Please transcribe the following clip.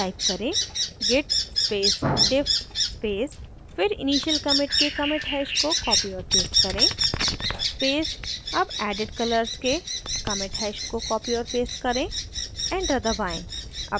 type करें: git space diff space फिर initial commit के commit hash को copy और paste करें space अब added colors के commit hash को copy और paste करें एंटर दबाएँ